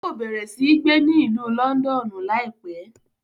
Yóò bẹrẹ si gbé ni Ìlú Lọndọnu laipẹ